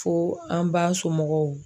Fo an ba somɔgɔw